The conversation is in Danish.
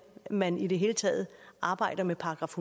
man i det hele taget arbejder med §